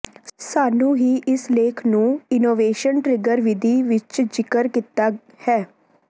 ਸਾਨੂੰ ਹੀ ਇਸ ਲੇਖ ਨੂੰ ਇਨੋਵੇਸ਼ਨ ਟਰਿੱਗਰ ਵਿਧੀ ਵਿੱਚ ਜ਼ਿਕਰ ਕੀਤਾ ਹੈ